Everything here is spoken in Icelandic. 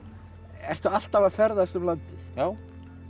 ertu alltaf að ferðast um landið já